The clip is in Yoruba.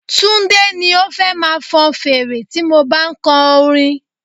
Túndé ni ó fẹ́ máa fọn fèrè tí mo bá ń kọ orin.